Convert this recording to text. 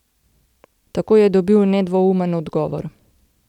Takoj je dobil nedvoumen odgovor.